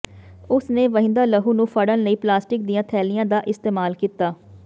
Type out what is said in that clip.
ਉਸ ਨੇ ਵਹਿੰਦਾ ਲਹੂ ਨੂੰ ਫੜਨ ਲਈ ਪਲਾਸਟਿਕ ਦੀਆਂ ਥੈਲੀਆਂ ਦਾ ਇਸਤੇਮਾਲ ਕੀਤਾ